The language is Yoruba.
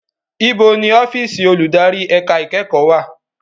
Ibo ni ọ́fíìsì olùdarí ẹ̀ka ìkẹ́kọ̀ọ́ wà?